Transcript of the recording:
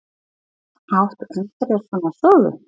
Átt þú einhverjar svona sögu?